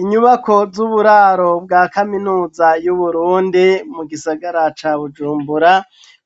Inyubako z'uburaro bwa kaminuza y'uburundi ,mu gisagara ca bujumbura